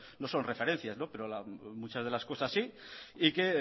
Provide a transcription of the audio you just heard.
no son referencias pero muchas de las cosas sí y que